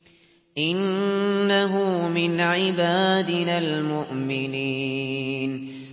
إِنَّهُ مِنْ عِبَادِنَا الْمُؤْمِنِينَ